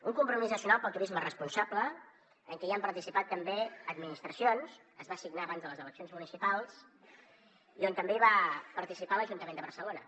un compromís nacional pel turisme responsable en què han participat també administracions es va signar abans de les eleccions municipals i on també va participar l’ajuntament de barcelona